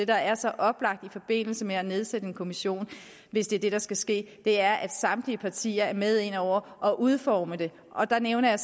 der er så oplagt i forbindelse med at nedsættes en kommission hvis det er det der skal ske er at samtlige partier der er med inde over og udformer det der nævnte jeg